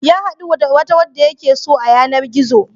Ya haɗu da wata wadda yake so a yanar-gizo.